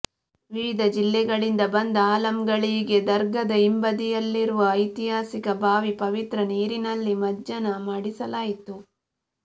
ವಿವಿಧ ಜಿಲ್ಲೆಗಳಿಂದ ಬಂದ ಆಲಂಗಳಿಗೆ ದರ್ಗಾದ ಹಿಂಬದಿಯಲ್ಲಿರುವ ಐತಿಹಾಸಿಕ ಬಾವಿ ಪವಿತ್ರ ನೀರಿನಲ್ಲಿ ಮಜ್ಜನ ಮಾಡಿಸಲಾಯಿತು